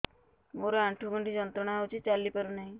ମୋରୋ ଆଣ୍ଠୁଗଣ୍ଠି ଯନ୍ତ୍ରଣା ହଉଚି ଚାଲିପାରୁନାହିଁ